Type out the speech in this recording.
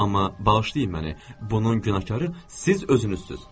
Amma bağışlayın məni, bunun günahkarı siz özünüzsüz.